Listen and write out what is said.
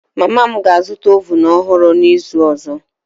Mama m ga-azụta oven ọhụrụ n'izu ọzọ